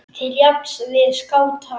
til jafns við skáta.